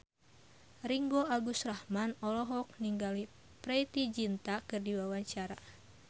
Ringgo Agus Rahman olohok ningali Preity Zinta keur diwawancara